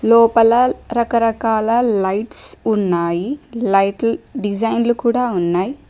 లోపల రకరకాల లైట్స్ ఉన్నాయి లైట్లు డిజైన్లు కూడా ఉన్నాయి.